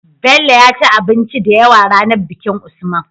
Bello yaci abinci da yawa ranar bikin usman